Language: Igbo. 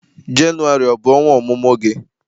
Jenụwarị ọ bụ ọnwa ọmụmụ gị?